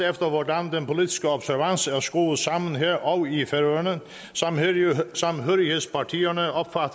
efter hvordan den politiske observans er skruet sammen her og i færøerne samhørighedspartierne opfatter